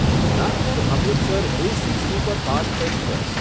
Nagpur Amritsar AC superfast express